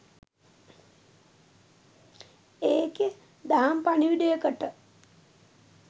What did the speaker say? ඒකෙ දහම් පණිවුඩයකට